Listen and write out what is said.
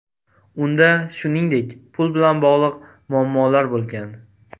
Unda, shuningdek, pul bilan bog‘liq muammolar bo‘lgan.